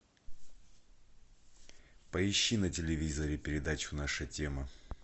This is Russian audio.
поищи на телевизоре передачу наша тема